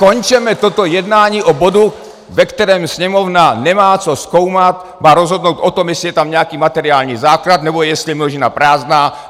Skončeme toto jednání o bodu, ve kterém Sněmovna nemá co zkoumat, má rozhodnout o tom, jestli je tam nějaký materiální základ, nebo jestli je množina prázdná.